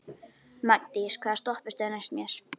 Magndís, hvaða stoppistöð er næst mér?